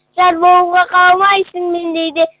жар болуға қаламайсың мендей де